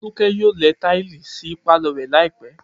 Folús̩ó̩ yóò le̩ táìlì sí pálò̩ rè̩ láì pé̩